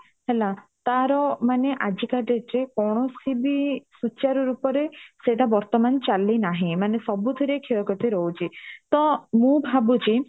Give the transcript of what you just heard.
ହେଲା ତାର ମାନେ ଆଜିକା date ରେ କୌଣସିବି ସୁଚାର ରୂପରେ ସେଟା ବର୍ତମାନ ଚାଲି ନାହିଁ ମାନେ ସବୁ ଥିରେ କ୍ଷେୟ କ୍ଷତି ରହୁଚି ତ ମୁଁ ଭାବୁ ଚି